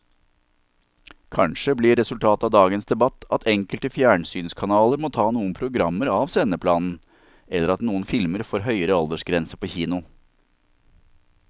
Kanskje blir resultatet av dagens debatt at enkelte fjernsynskanaler må ta noen programmer av sendeplanen eller at noen filmer får høyere aldersgrense på kino.